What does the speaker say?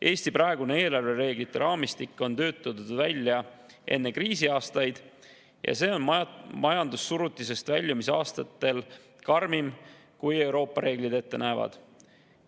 Eesti praegune eelarvereeglite raamistik on töötatud välja enne kriisiaastaid ja see on majandussurutisest väljumise aastatel karmim, kui Euroopa reeglid ette näevad.